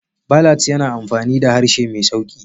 Ballads yana amfani da harshe mai sauƙi.